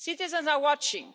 Citizens are watching.